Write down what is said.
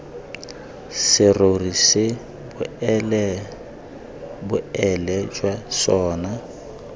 serori se boleele jwa sona